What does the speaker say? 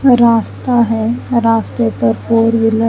रास्ता है रास्ते पे फॉर विलर --